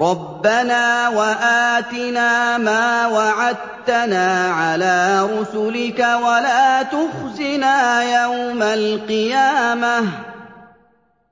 رَبَّنَا وَآتِنَا مَا وَعَدتَّنَا عَلَىٰ رُسُلِكَ وَلَا تُخْزِنَا يَوْمَ الْقِيَامَةِ ۗ